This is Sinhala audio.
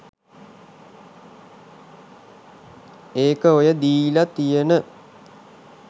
ඒක ඔය දීලා තියන